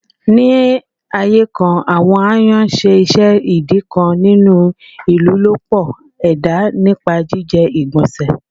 Ni aaye kan, awọn ayan ṣe iṣẹ idi kan ninu ilolupo eda nipa jijẹ igbanse.